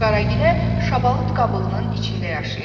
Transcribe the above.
Qaragilə şabalıt qabığının içində yaşayırdı.